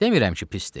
Demirəm ki pisdir.